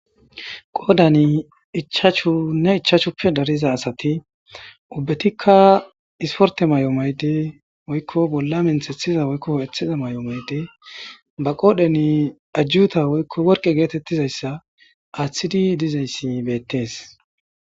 qoodan ichaachu nne ichachuppe dariza asati ubbetikka isporte may7o maydi woykko bolla menthethiza woykko oetheza may7o maydi ba qoodheni ajjuta woykko worqe geetettizayssa aaththidi dizayssi beettees